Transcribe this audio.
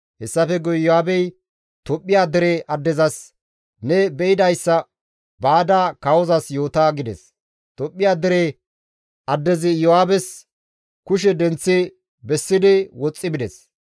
Hessafe guye Iyo7aabey Tophphiya dere addezas, «Ne be7idayssa baada kawozas yoota» gides; Tophphiya dere addezi Iyo7aabes kushe denththi bessidi woxxi bides.